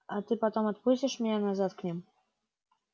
а ты потом отпустишь меня назад к ним